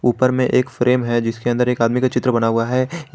ऊपर में एक फ्रेम है जिसके अंदर एक आदमी का चित्र बना हुआ है।